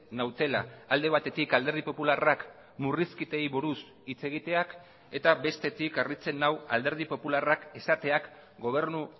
nautela alde batetik alderdi popularrak murrizketei buruz hitz egiteak eta bestetik harritzen nau alderdi popularrak esateak gobernu